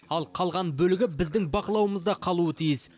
ал қалған бөлігі біздің бақылауымызда қалуы тиіс